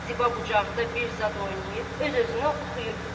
Ziba bucaqda bir zad oynayıb, öz-özünə oxuyurdu.